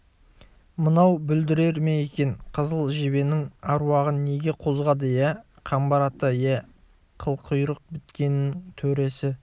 мынау бүлдірер ме екен қызыл жебенің аруағын неге қозғады иә қамбар ата иә қылқұйрық біткеннің төресі